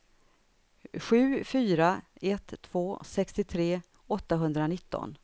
sju fyra ett två sextiotre åttahundranitton